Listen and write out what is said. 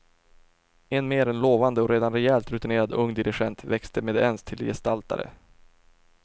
En mer än lovande och redan rejält rutinerad ung dirigent växte med ens till gestaltare.